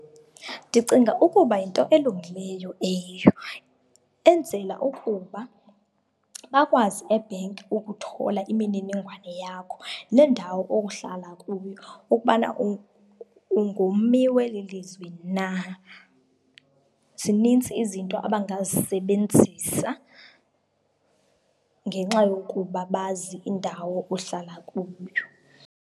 Ndicinga ukuba yinto elungileyo leyo, enzela ukuba bakwazi ebhenki ukuthola imininingwane yakho nendawo ohlala kuyo ukubana ungummi weli lizwe na. Zininzi izinto abangazisebenzisa ngenxa yokuba bazi indawo ohlala kuyo.